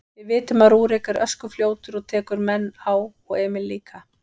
Við vitum að Rúrik er öskufljótur og tekur menn á og Emil líka.